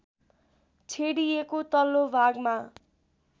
छेडिएको तल्लो भागमा